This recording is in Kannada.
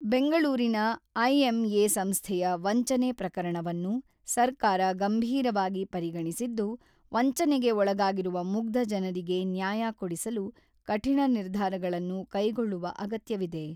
ಬೆಂಗಳೂರಿನ ಐಎಂಎ ಸಂಸ್ಥೆಯ ವಂಚನೆ ಪ್ರಕರಣವನ್ನು ಸರ್ಕಾರ ಗಂಭೀರವಾಗಿ ಪರಿಗಣಿಸಿದ್ದು, ವಂಚನೆಗೆ ಒಳಗಾಗಿರುವ ಮುಗ್ಧ ಜನರಿಗೆ ನ್ಯಾಯ ಕೊಡಿಸಲು ಕಠಿಣ ನಿರ್ಧಾರಗಳನ್ನು ಕೈಗೊಳ್ಳುವ ಅಗತ್ಯವಿದೆ.